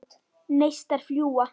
Neistar fljúga.